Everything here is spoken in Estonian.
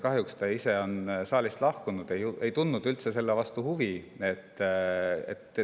Kahjuks ta ise on saalist lahkunud, ei tundnud üldse selle vastu huvi.